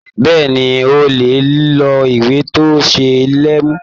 Bẹ́ẹ̀ni, o lè ló ìwé tó ṣé lè mi.